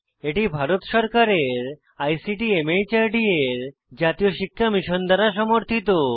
এটি ভারত সরকারের ICT MHRD এর জাতীয় শিক্ষা মিশন দ্বারা সমর্থিত